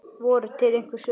Voru til einhver svör?